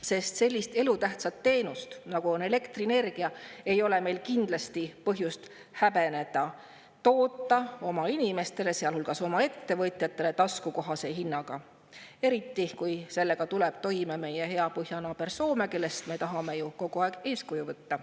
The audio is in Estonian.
Sest sellist elutähtsat nagu elektrienergia ei ole meil kindlasti põhjust häbeneda toota oma inimestele, sealhulgas oma ettevõtjatele, taskukohase hinnaga, eriti kui sellega tuleb toime meie hea põhjanaaber Soome, kellest me tahame ju kogu aeg eeskuju võtta.